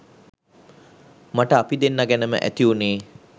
මට අපි දෙන්නා ගැනම ඇති වුණේ